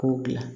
K'o gilan